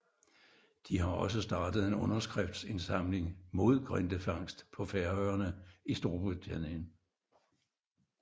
De har også startet en underskriftindsamling mod grindefangst på Færøerne i Storbritannien